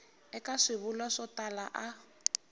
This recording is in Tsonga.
eka swivulwa swo tala a